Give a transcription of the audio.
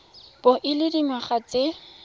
bo o le dingwaga tse